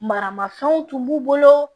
Maramafɛnw tun b'u bolo